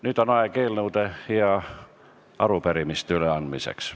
Nüüd on aeg eelnõude ja arupärimiste üleandmiseks.